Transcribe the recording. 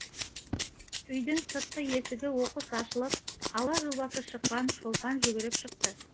үйдің сыртқы есігі оқыс ашылып алба жұлбасы шыққан шолпан жүгіріп шықты